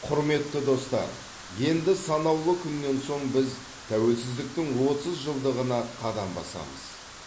құрметті достар енді санаулы күннен соң біз тәуелсіздіктің отыз жылдығына қадам басамыз